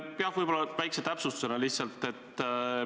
Pean võib-olla ühe väikse täpsustuse tegema.